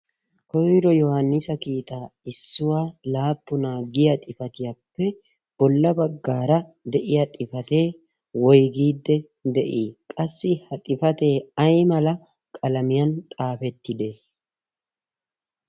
koyro yohaannisa kiitaa issuwaa laappunaa giya xifatiyaappe bolla baggaara de'iya xifatee woigiidde de'ii? qassi ha xifatee ay mala qalamiyan xaafettide?